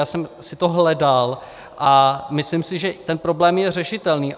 Já jsem si to hledal a myslím si, že ten problém je řešitelný.